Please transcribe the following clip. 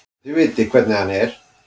Þið vitið hvernig hann er.